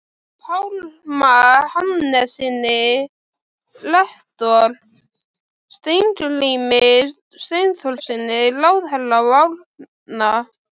Pálma Hannessyni rektor, Steingrími Steinþórssyni ráðherra og Árna